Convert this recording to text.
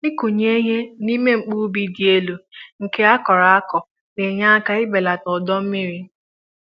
ịkụ nye ihe n'ime mkpu ubi dị élú nke a kọrọ akọ ,na enye áká ị belata ọdọ mmiri